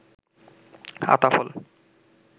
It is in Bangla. আতা ফল